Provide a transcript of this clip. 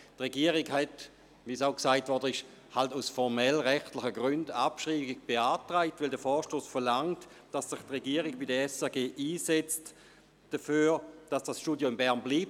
Wie gesagt worden ist, hat die Regierung aus formellen, rechtlichen Gründen die Abschreibung beantragt, weil der Vorstoss verlangt, dass sich die Regierung bei der SRG dafür einsetzt, dass das Radiostudio in Bern bleibt.